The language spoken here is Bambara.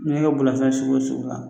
N'i y'a kɛ bolilafɛn sugu o sugu la